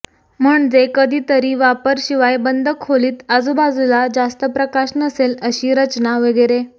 म्हणजे कधीतरी वापर शिवाय बंद खोलीत आजूबाजूला जास्त प्रकाश नसेल अशी रचना वगैरे